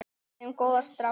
Við eigum góða stráka.